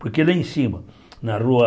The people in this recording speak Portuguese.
Porque lá em cima, na Rua...